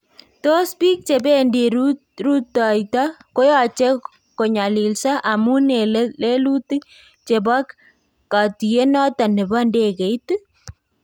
Tos biik chebeendii rutoyto koyache konyalilsa amun en lelutik chebo katiyeet noton nebo ndekeiit?